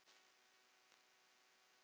Lurkur getur átt við